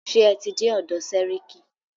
Ṣé ẹ tí dé ọ̀dọ̀ sẹ́ríkí?